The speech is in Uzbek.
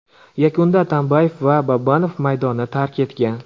Yakunda Atambayev va Babanov maydonni tark etgan.